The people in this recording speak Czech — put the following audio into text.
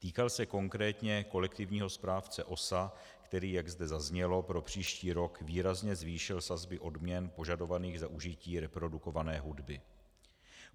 Týkal se konkrétně kolektivního správce OSA, který, jak zde zaznělo, pro příští rok výrazně zvýšil sazby odměn požadovaných za užití reprodukované hudby.